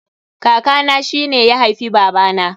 Kaka na shine ya haifi baba na